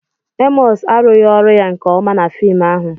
Emọs arụghị ọrụ ya nke ọma na fim ahụ.